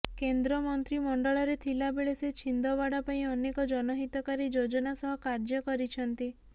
କେନ୍ଦ୍ର ମନ୍ତ୍ରିମଣ୍ଡଳରେ ଥିଲାବେଳେ ସେ ଛିନ୍ଦୱାଡା ପାଇଁ ଅନେକ ଜନହିତକାରୀ ଯୋଜନା ସହ କାର୍ଯ୍ୟ କରିଛନ୍ତି